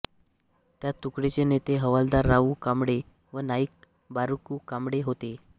या तुकडीचे नेते हवालदार रावू कांबळे व नाईक बारकू कांबळे होते